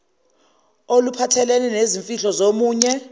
oluphathelene nezimfihlo zomunye